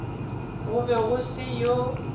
go be go se yo